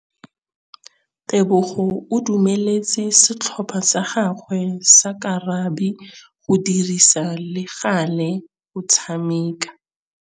Tebogô o dumeletse setlhopha sa gagwe sa rakabi go dirisa le galê go tshameka.